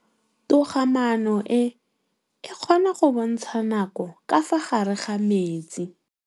Toga-maanô e, e kgona go bontsha nakô ka fa gare ga metsi.